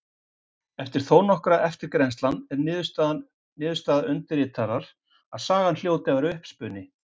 Eftir þó nokkra eftirgrennslan er niðurstaða undirritaðrar að sagan hljóti að vera uppspuni.